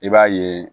I b'a ye